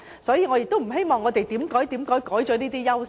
所以，我不希望香港失去這些優勢。